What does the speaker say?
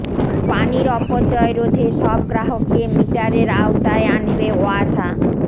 পানির অপচয় রোধে সব গ্রাহককে মিটারের আওতায় আনবে ওয়াসা